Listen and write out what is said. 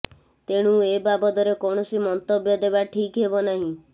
ତେଣୁ ଏ ବାବଦରେ କୌଣସି ମନ୍ତବ୍ୟ ଦେବା ଠିକ୍ ହେବ ନାହିଁ